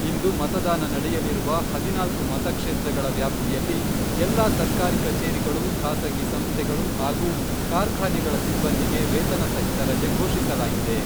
ಇಂದು ಮತದಾನ ನಡೆಯಲಿರುವ ಹದಿನಾಲ್ಕು ಮತಕ್ಷೇತ್ರಗಳ ವ್ಯಾಪ್ತಿಯಲ್ಲಿ ಎಲ್ಲಾ ಸರ್ಕಾರಿ ಕಚೇರಿಗಳು, ಖಾಸಗಿ ಸಂಸ್ಥೆಗಳು, ಹಾಗೂ ಕಾರ್ಖಾನೆಗಳ ಸಿಬ್ಬಂದಿಗೆ ವೇತನ ಸಹಿತ ರಜೆ ಘೋಷಿಸಲಾಗಿದೆ.